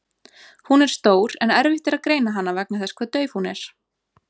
Hún er stór en erfitt er að greina hana vegna þess hve dauf hún er.